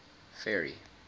ferry